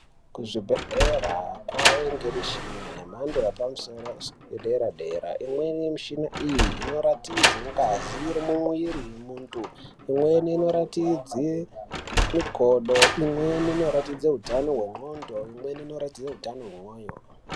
Kuzvibhedhlera kwavanike mishina yemhadzo yepamusoro yedera-dera. Imweni yemishina iyi inoratidze ngazi iri mumwiri vemuntu, imweni inoratidze makodo, imweni inoratidze hutano hwendxondo, imweni inoratidze hutano hwemwoyo.